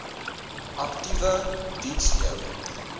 aktiewe diens lewer